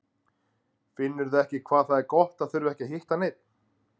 Finnurðu ekki hvað það er gott að þurfa ekki að hitta neinn?